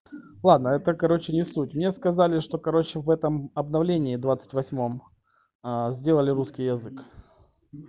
ладно это короче не суть мне сказали что короче в этом обновление двадцать восьмом ээ сделали русский язык